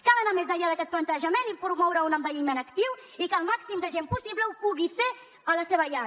cal anar més enllà d’aquest plantejament i promoure un envelliment actiu i que el màxim de gent possible ho pugui fer a la seva llar